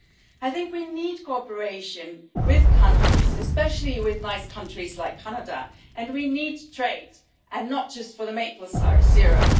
I think we need cooperation with countries, especially with nice countries like Canada, and we need to trade and not just for the maple syrup.